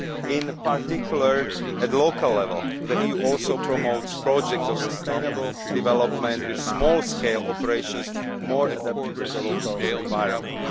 In particular, at local level, the EU also promotes projects of sustainable development with small scale operations more adapted to the local environment.